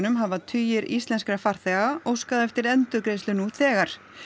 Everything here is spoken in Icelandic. hafa tugir íslenskra farþega óskað eftir endurgreiðslu nú þegar